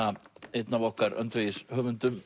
einn af okkar